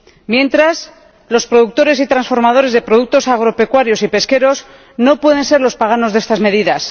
mientras, los productores y transformadores de productos agropecuarios y pesqueros no pueden ser los paganos de estas medidas.